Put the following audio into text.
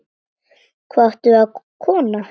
Hvað áttu við, kona?